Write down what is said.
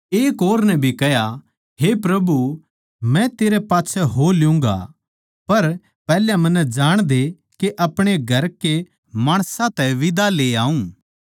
एक और नै भी कह्या हे प्रभु मै तेरै पाच्छै हो लूँगा पर पैहल्या मन्नै जाणदे के अपणे घरां के माणसां तै बिदा ली याऊँ